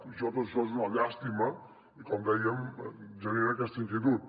i tot això és una llàstima i com dèiem genera aquesta inquietud